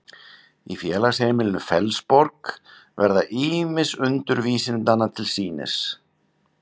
í félagsheimilinu fellsborg verða ýmis undur vísindanna til sýnis